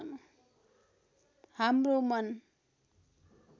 हाम्रो मन